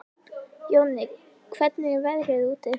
Jonni, hvernig er veðrið úti?